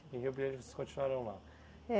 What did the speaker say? Em Rio Brilhante, vocês continuaram lá. É